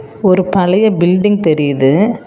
ஒரு பழைய பில்டிங் தெரியுது.